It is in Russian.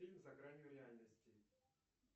фильм за гранью реальности